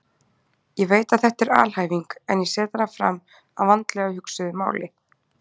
Ég veit að þetta er alhæfing en ég set hana fram að vandlega hugsuðu máli.